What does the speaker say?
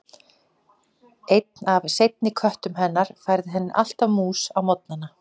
Einn af seinni köttum hennar færði henni alltaf mús á morgnana.